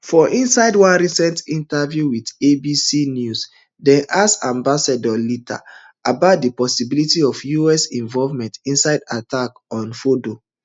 for inside one recent interview wit abc news dem ask ambassador leiter about di possibility of us involvement inside attack on fordo